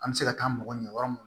An bɛ se ka taa mɔgɔ ɲini yɔrɔ mun